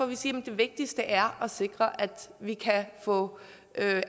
vi siger at det vigtigste er at sikre at vi kan få